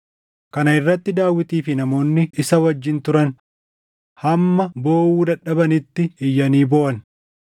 Kana irratti Daawitii fi namoonni isa wajjin turan hamma booʼuu dadhabanitti iyyanii booʼan.